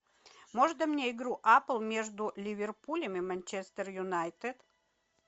можно мне игру апл между ливерпулем и манчестер юнайтед